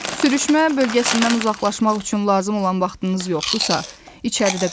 Sürüşmə bölgəsindən uzaqlaşmaq üçün lazım olan vaxtınız yoxdursa, içəridə qalın.